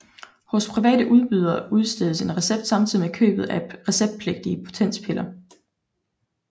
Hos private udbydere udstedes en recept samtidig med købet af receptpligtige potenspiller